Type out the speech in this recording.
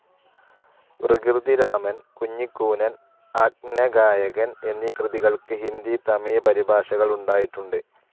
വികൃതിരാമൻ, കുഞ്ഞിക്കൂനൻ, അന്ധഗായകൻ എന്നീ കൃതികൾക്ക് ഹിന്ദി, തമിഴ്, പരിഭാഷകൾ ഉണ്ടായിട്ടുണ്ട്.